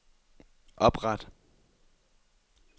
opret